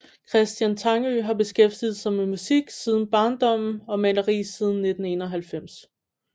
Christian Tangø har beskæftiget sig med musik siden barndommen og maleri siden 1991